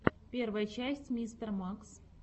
первая часть мистер макс